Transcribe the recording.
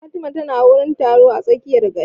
Fatima ta na wurin taro a tsakiyar gari